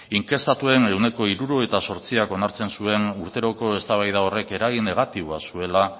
inkestatuen ehuneko hirurogeita zortziak onartu zuen urteroko eztabaida horrek eragin negatiboa zuela